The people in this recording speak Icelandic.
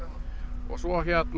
og svo